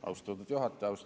Austatud juhataja!